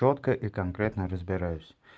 чётко и конкретно разбираюсь